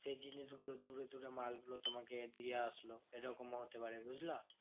সেই জিনিসগুলো দূরে দূরে মালগুলো তোমাকে দিয়ে আসলো এরকমও হতে পারে, বুঝলা?